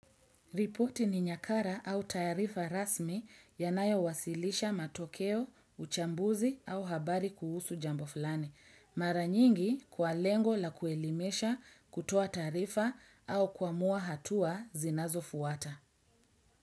Reporti ni nyakara au tarifa rasmi yanayo wasilisha matokeo, uchambuzi au habari kuhusu jambo fulani. Mara nyingi kwa lengo la ku elimesha kutoa taarifa au kuamua hatua zinazo fuata.